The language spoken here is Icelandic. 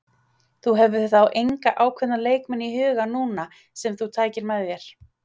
Þú hefur þá enga ákveðna leikmenn í huga núna sem þú tækir með þér?